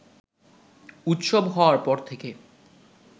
উৎসব হওয়ার পর থেকে